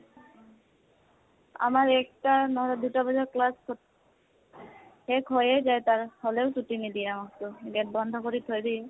আমাৰ একটা নহলে দুটা বজাত class শেষ হৈয়ে যায় তাৰ, হলেও ছুটী নিদিয়ে আমাকটো। gate বন্ধ কৰি থৈ দিয়ে।